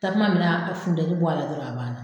Tasuma mɛnɛ a ka funteni bɔ a la dɔrɔn a ba na.